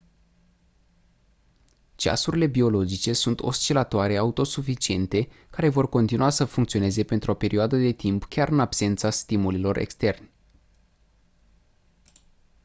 ceasurile biologice sunt oscilatoare autosuficiente care vor continua să funcționeze pentru o perioadă de timp chiar în absența stimulilor externi